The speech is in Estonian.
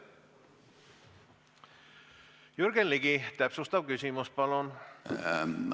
Jürgen Ligi, täpsustav küsimus, palun!